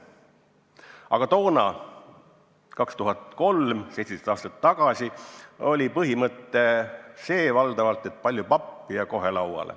Aga toona, 2003. aastal, 17 aastat tagasi oli põhimõte valdavalt see, et palju pappi, ja kohe lauale.